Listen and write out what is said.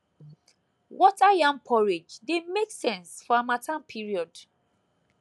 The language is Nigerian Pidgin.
water yam porridge dey make sense for harmattan period